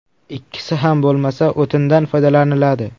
Ikkisi ham bo‘lmasa, o‘tindan foydalaniladi.